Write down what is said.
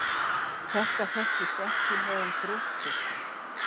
Þetta þekkist ekki meðal brjóskfiska.